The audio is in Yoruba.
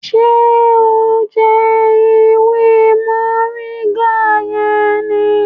Ṣe o ń jẹ ewé moringa yẹn ní?